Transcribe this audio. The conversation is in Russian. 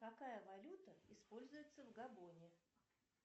какая валюта используется в габоне